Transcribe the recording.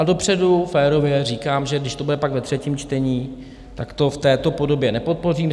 A dopředu férově říkám, že když to bude pak ve třetím čtení, tak to v této podobě nepodpořím.